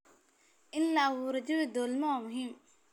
In la abuuro jawi dowladnimo waa muhiim.